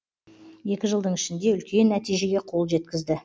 екі жылдың ішінде үлкен нәтижеге қол жеткізді